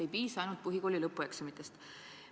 Ei piisa ainult põhikooli lõpueksamitest.